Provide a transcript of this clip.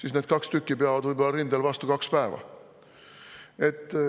–, aga need kaks tükki peavad rindel vastu võib-olla kaks päeva.